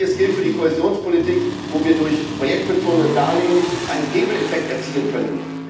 Ähnliches gilt für die Kohäsionspolitik, wo wir durch projektbezogene Darlehen einen Hebeleffekt erzielen könnten.